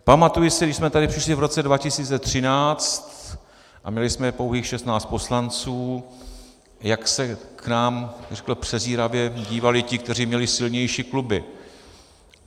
Pamatuji si, když jsme sem přišli v roce 2013 a měli jsme pouhých 16 poslanců, jak se k nám přezíravě dívali ti, kteří měli silnější kluby.